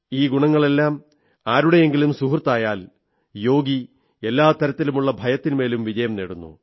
ഈ ഗുണങ്ങളെല്ലാം ആരുടെയെങ്കിലും സുഹൃത്തായാൽ യോഗി എല്ലാ തരത്തിലുമുള്ള ഭയത്തിന്മേലും വിജയം നേടുന്നു